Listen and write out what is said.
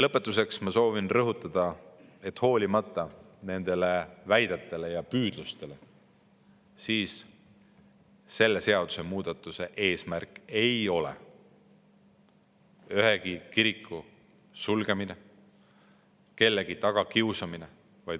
Lõpetuseks soovin rõhutada, et hoolimata teatud väidetest ja püüdlustest ei ole selle seadusemuudatuse eesmärk ühegi kiriku sulgemine ega kellegi tagakiusamine.